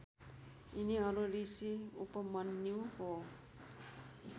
यिनीहरू ऋषि उपमन्युको